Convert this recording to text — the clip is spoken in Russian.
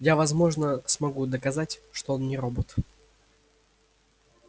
я возможно смогу доказать что он не робот